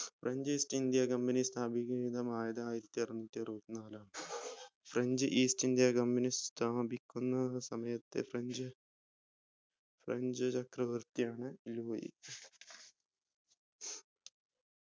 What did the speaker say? French East India company സ്ഥാപിക തമായത് ആയിരത്തിഅറന്നൂറ്റി അറുപത്തിനാല് ആണ് French East India Company സ്ഥാപിക്കുന്ന സമയത്ത് frenchfrench ചക്രവർത്തിയാണ് ലൂയി